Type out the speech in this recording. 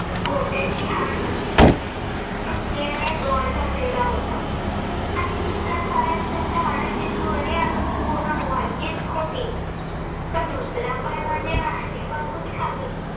घोट्याची हाडे तुटल्याने rod घातलेला होता आणि दुसऱ्या पायात ज्यांच्या हाडांची जुळणी अजून पूर्ण व्हायचीच होती. पण दुसरा पाय म्हणजे मांडीपासून खाली